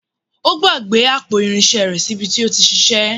Ó gbàgbé àpò irinṣẹ́ rẹ̀ sí bi tí ó ti ṣiṣẹ́.